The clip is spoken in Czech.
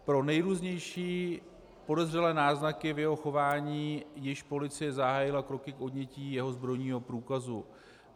Pro nejrůznější podezřelé náznaky v jeho chování již policie zahájila kroky k odnětí jeho zbrojního průkazu.